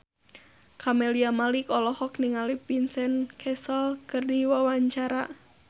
Camelia Malik olohok ningali Vincent Cassel keur diwawancara